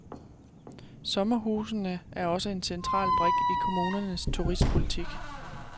Sommerhusene er også en central brik i kommunernes turistpolitik.